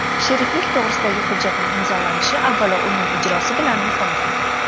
Sheriklik to‘g‘risidagi hujjatning imzolanishi avvalo uning ijrosi bilan muhimdir.